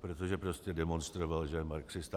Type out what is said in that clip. protože prostě demonstroval, že je marxista.